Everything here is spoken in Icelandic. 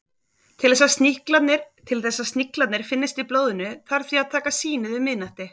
Til þess að sníklarnir finnist í blóðinu þarf því að taka sýnið um miðnætti.